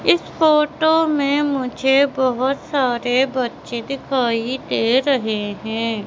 इस फोटो में मुझे बहोत सारे बच्चे दिखाई दे रहे हैं।